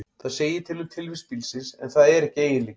Það segir til um tilvist bílsins, en það er ekki eiginleiki.